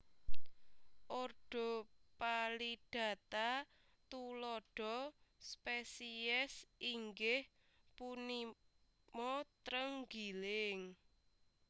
Ordo Phalidata tuladha spesies inggih punimatrenggiling